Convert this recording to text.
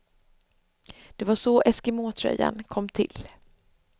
Det var så eskimåtröjan kom till.